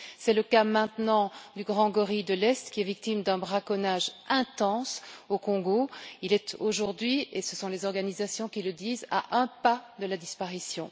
C'est le cas maintenant du grand gorille de l'Est qui est victime d'un braconnage intense au Congo. Il est aujourd'hui et ce sont les organisations qui le disent à un pas de la disparition.